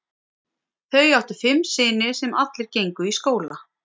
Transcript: Þau áttu fimm syni sem allir gengu í skóla.